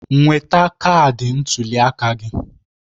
Nweta kaadị ntuli aka gị